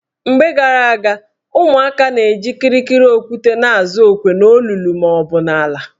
Mgbe gara aga, ụmụaka na-eji kịrịkịrị okwute azụ okwe n' olulu maọbụ n' ala.